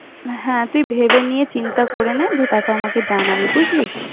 হ্যাঁ, তুই ভেবে নিয়ে চিন্তা করে নে, দিয়ে তারপর আমাকে জানাবি বুঝলি?